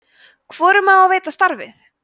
hvorum á að veita starfið